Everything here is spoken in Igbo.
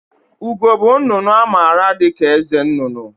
Ugo bụ nnụnụ a maara dịka eze nnụnụ